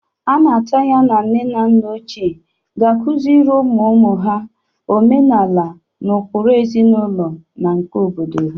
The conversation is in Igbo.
A na-atụ anya na nne na nna ochie ga-akụzịrị ụmụụmụ ha omenala na ụkpụrụ ezinaụlọ na nke oha obodo.